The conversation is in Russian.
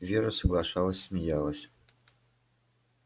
вера соглашалась смеялась